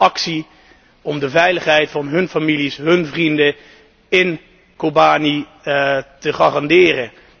Ze wilden actie om de veiligheid van hun families, hun vrienden in Kobani te garanderen.